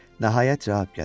Nəhayət cavab gəlir.